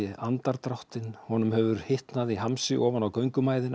andardráttinn honum hefur hitnað í hamsi ofan á